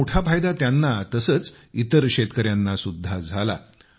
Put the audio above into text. त्याचा मोठा फायदा त्यांना तसेच इतर शेतकऱ्यांना सुद्धा झाला